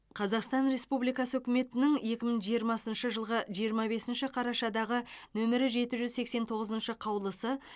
қазақстан республикасы үкіметінің екі мың жиырмасыншы жылғы жиырма бесінші қарашадағы нөмірі жеті жүз сексен тоғызыншы қаулысы